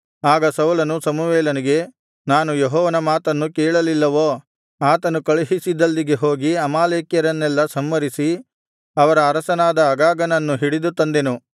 ಆಗ ಸೌಲನು ಸಮುವೇಲನಿಗೆ ಏನು ನಾನು ಯೆಹೋವನ ಮಾತನ್ನು ಕೇಳಲಿಲ್ಲವೋ ಆತನು ಕಳುಹಿಸಿದಲ್ಲಿಗೆ ಹೋಗಿ ಅಮಾಲೇಕ್ಯರನ್ನೆಲ್ಲಾ ಸಂಹರಿಸಿ ಅವರ ಅರಸನಾದ ಅಗಾಗನನ್ನು ಹಿಡಿದು ತಂದೆನು